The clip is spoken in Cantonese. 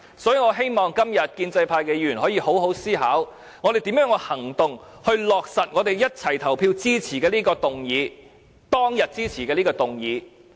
所以，我希望今天建制派議員可以好好思考，如何以行動落實我們一齊投票支持的這項議案，當天支持的這項議案。